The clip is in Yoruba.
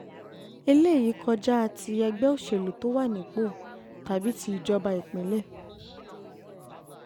eléyìí kọjá um kọjá um ti ẹgbẹ́ òṣèlú tó wà nípò tàbí ti um ìjọba ìpínlẹ̀